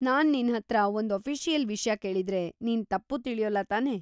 ನಾನ್‌ ನಿನ್ಹತ್ರ ಒಂದ್‌ ಅಫಿಷಿಯಲ್ ವಿಷ್ಯ ಕೇಳಿದ್ರೆ, ನೀನ್‌ ತಪ್ಪು ತಿಳ್ಯೊಲ್ಲ ತಾನೇ?